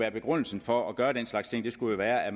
at begrundelsen for at gøre den slags ting skulle være at